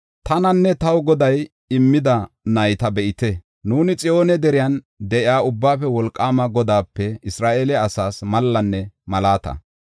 Tananne taw Goday immida nayta be7ite. Nuuni Xiyoone deriyan de7iya Ubbaafe Wolqaama Godaape Isra7eele asaas mallanne malaata.